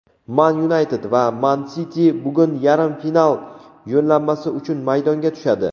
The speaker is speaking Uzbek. "Man Yunayted" va "Man Siti" bugun yarim final yo‘llanmasi uchun maydonga tushadi.